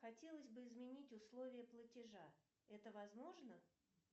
хотелось бы изменить условия платежа это возможно